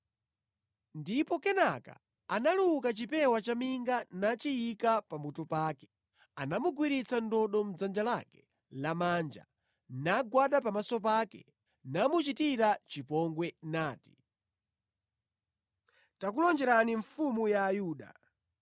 Ndipo kenaka analuka chipewa chaminga nachiyika pa mutu pake. Anamugwiritsa ndodo mʼdzanja lake lamanja nagwada pamaso pake namuchitira chipongwe nati, “Tikulonjereni Mfumu ya Ayuda.”